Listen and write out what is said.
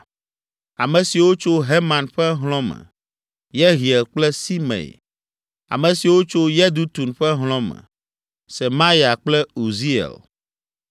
Ame siwo tso Heman ƒe hlɔ̃ me: Yehiel kple Simei. Ame siwo tso Yedutun ƒe hlɔ̃ me. Semaya kple Uziel.